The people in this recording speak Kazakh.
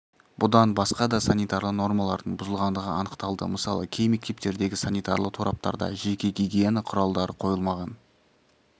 бұдан басқа да санитарлы нормалардың бұзылғандығы анықталды мысалы кей мектептердегі санитарлы тораптарда жеке гигиена құралдары қойылмаған